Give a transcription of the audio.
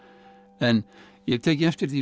en ég hef tekið eftir því